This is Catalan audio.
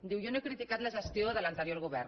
diu jo no he criticat la gestió de l’anterior govern